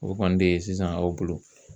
O kɔni de ye sisan aw bolo